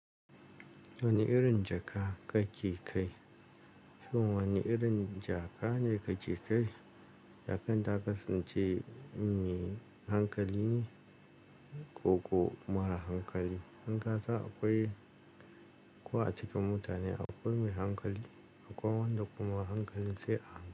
Wane irin jaka kake kai? To wane irin jaka ne kake kai? Jakan ta kasance mai hankali ne ko kuma mara hankali? Dan kasan akwai-- ko a cikin mutane akwai mai hankali akwai wanda kuma hankalin sai a.